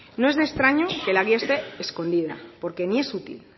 no es de extraño que la guía esté escondida porque ni es útil